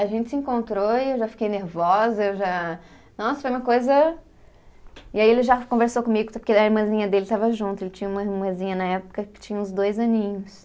A gente se encontrou e eu já fiquei nervosa, eu já... Nossa, foi uma coisa. E aí ele já conversou comigo, porque a irmãzinha dele estava junto, ele tinha uma irmãzinha na época que tinha uns dois aninhos.